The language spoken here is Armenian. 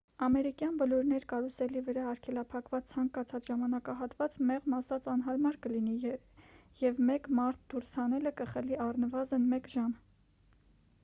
ամերիկյան բլուրներ կարուսելի վրա արգելափակված ցանկացած ժամանակահատված մեղմ ասած անհարմար կլինի և մեկ մարդ դուրս հանելը կխլի առնվազն մեկ ժամ